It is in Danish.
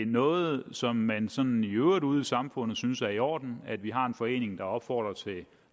noget som man sådan i øvrigt ude i samfundet synes er i orden at vi har en forening der opfordrer til